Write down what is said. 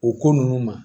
O ko ninnu ma